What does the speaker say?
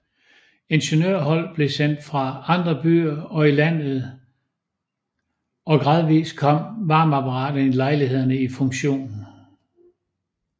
Ingeniørhold blev sendt fra andre byer og i landet og gradvist kom varmeapparaterne i lejlighederne i funktion